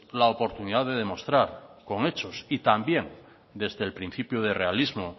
la oportunidad de demostrar con hechos y también desde el principio de realismo